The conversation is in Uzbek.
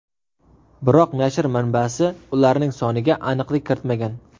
Biroq nashr manbasi ularning soniga aniqlik kiritmagan.